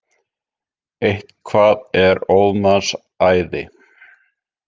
Eitthvað er óðs manns æði